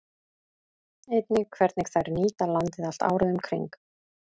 Einnig hvernig þær nýta landið allt árið um kring.